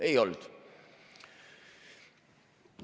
Ei olnud nii.